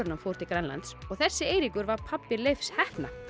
en hann fór til Grænlands og þessi Eiríkur var pabbi Leifs heppna